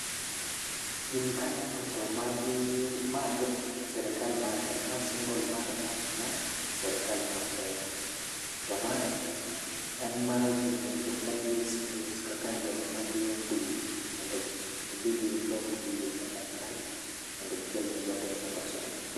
Gini kaneno to magi mag sirikal ma kae ma symbol mar sirikal ma kenya to mae en mar ginene joma tie space kaka joma dhie dwe mondo gidhi gisom dwe kaka chal mondo gidhi gikel ne jopiny mondo osom.